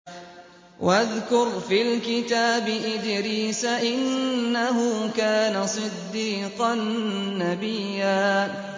وَاذْكُرْ فِي الْكِتَابِ إِدْرِيسَ ۚ إِنَّهُ كَانَ صِدِّيقًا نَّبِيًّا